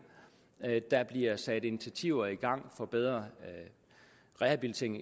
der bliver sat initiativer i gang for bedre rehabilitering